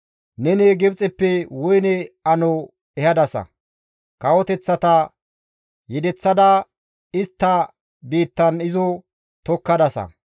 Neni Gibxeppe woyne ano ehadasa; kawoteththata yedeththada istta biittan izo tokkadasa.